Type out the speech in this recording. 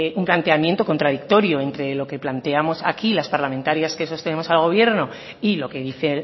un planteamiento contradictorio entre lo que planteamos aquí las parlamentarias que sostenemos al gobierno y lo que dice